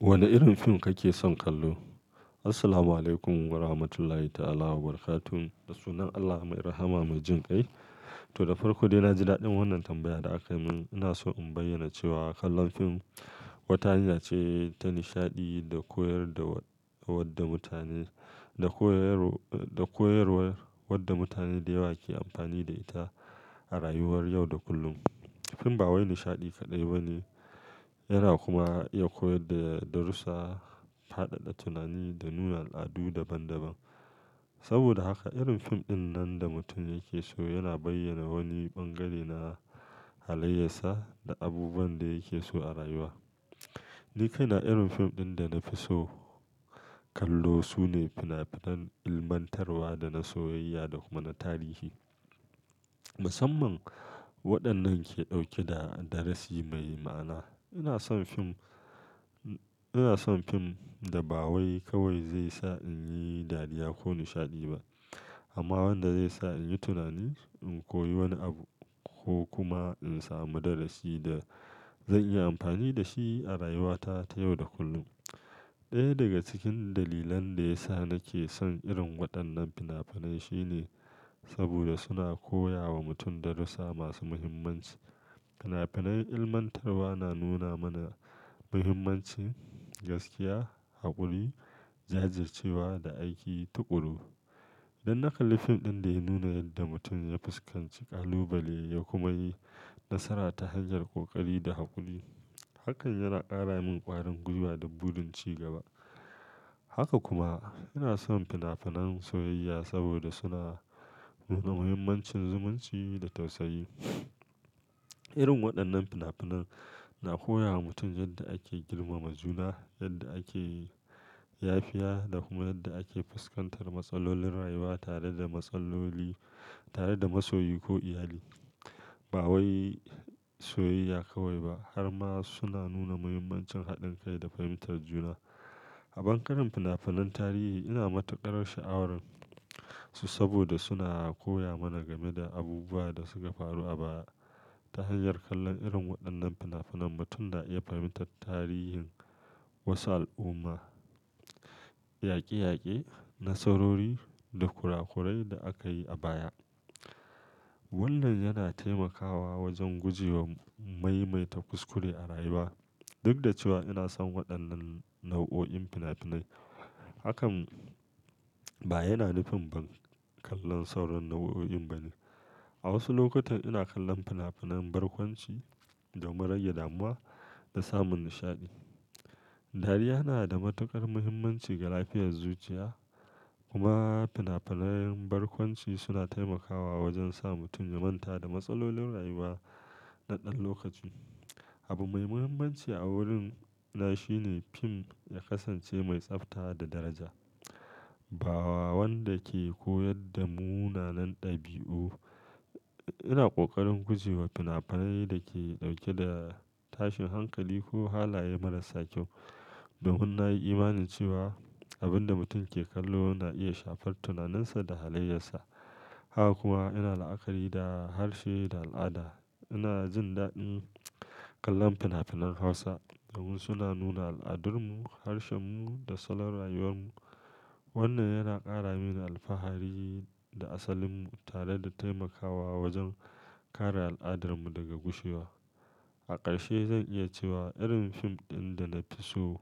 Wane irin fim kake son kallo? Assalamualaikum warahmatullahi ta'ala wabarakatuh. Da sunan Allah mai rahama mai jin ƙai. To, da farko dai na ji daɗin wannan tambaya da aka yi min. Ina so in bayyana cewa kallon fim wata hanya ce ta nishaɗi da koyar da wadda mutane, da koyarwar wadda mutane da yawa ke amfani da ita a rayuwar yau da kullum. Fim ba wai nishaɗi kaɗai ba ne, yana kuma iya koyar da darussa, faɗaɗa tunani da nuna al'adu daban-daban. Saboda haka irin fim ɗin nan da mutum yake so yana bayyana wani bangare na halayyarsa da abubuwan da yake so a rayuwa. Nikaina irin fim ɗin da na fi so kallo su ne fina-finan ilmantarwa da na soyayya da kuma na tarihi. Musamman waɗannan ke ɗauke da darasi mai ma'ana. Ina son fim, ina son fim da ba wai kawai zai sa in yi dariya ko nishaɗi ba, amma wanda zai sa in yi tunani, in koyi wani abu ko kuma in samu darasi da zan iya amfani da shi a rayuwata ta yau da kullum. Ɗaya daga cikin dalilan da ya sa nake son irin waɗannan fina-finai shine saboda suna koya wa mutum darussa masu mahimmanci. Fina-finai ilmantarwa na nuna mana muhimmancin gaskiya, haƙuri, jajircewa da aiki tuƙuru. Idan na kalli fim ɗin da ya nuna yadda mutum ya fuskanci ƙalubale ya kuma yi nasara ta hanyar ƙoƙari da haƙuri, hakan yana ƙara min ƙwarin gwiwa da burin ci gaba. Haka kuma ina son fina-finan soyayya saboda suna nuna muhimmancin zumunci da tausayi. Irin waɗannan fina-finan na koya wa mutum yadda ake girmama juna, yadda ake yafiya da kuma yadda ake fuskantar matsalolin rayuwa tare da masoyi ko iyali. Ba wai soyayya kawai ba, har ma suna nuna muhimmancin haɗin kai da fahimtar juna. A bangaren fina-finan tarihi, ina matuƙar sha'awar su saboda suna koya mana game da abubuwa da suka faru a baya. Ta hanyar kallon irin waɗannan fina-finan, mutum na iya fahimtar tarihin wasu al'umma, yaƙe-yaƙe, nasarori da kurakurai da aka yi a baya. Wannan yana taimakawa wajen guje wa maimaita kuskure a rayuwa. Duk da cewa ina son waɗannan nau'o'in fina-finai, hakan ba yana nufin ban kallon sauran nau'o'in ba ne. A wasu lokutan ina kallon fina-finan barkwanci domin rage damuwa da samun nishaɗi. Dariya yana da matuƙar muhimmanci ga lafiyar zuciya, kuma fina-finen barkwanci suna taimakawa wajen sa mutum ya manta da matsalolin rayuwa na ɗan lokaci. Abu mai muhimmanci a wurin na shine fim ya kasance mai tsafta da daraja, ba wanda ke koyar da munanan ɗabi'u. Ina ƙoƙarin guje wa fina-finai da ke ɗauke da tashin hankali ko halaye marasa kyau, domin na yi imani cewa abin da mutum ke kallo na iya shafar tunaninsa da halayyarsa. Haka kuma ina la'akari da harshe da al'ada. Ina jin daɗin kallon fina-finan Hausa domin suna nuna al'adunmu, harshenmu da salon rayuwar mu. Wannan yana ƙara mini alfahari da asalinmu tare da taimakawa wajen kare al'adarmu daga gushewa. A ƙarshe, zan iya cewa irin fim ɗin da na fi so